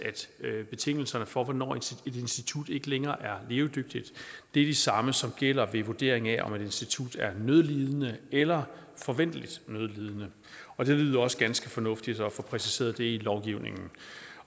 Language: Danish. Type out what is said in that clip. at betingelserne for hvornår et institut ikke længere er levedygtigt de samme som gælder ved vurdering af om et institut er nødlidende eller forventeligt nødlidende og det lyder også ganske fornuftigt at få præciseret det i lovgivningen